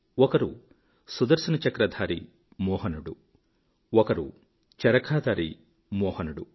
ఒకరు సుదర్శనచక్రధారి మోహనుడు ఒకరు చరఖాధారి మోహనుడు